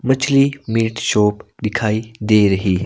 मछली meat shop दिखाई दे रहीं--